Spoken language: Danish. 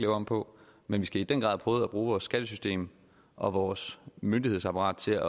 om på men vi skal i den grad prøve at bruge vores skattesystem og vores myndighedsapparat til at